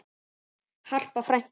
Harpa frænka.